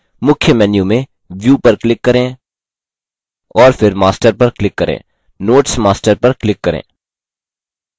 मुख्य menu में view पर click करें और फिर master पर click करें notes master पर click करें